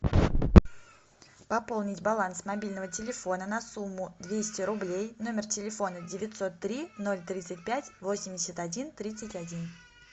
пополнить баланс мобильного телефона на сумму двести рублей номер телефона девятьсот три ноль тридцать пять восемьдесят один тридцать один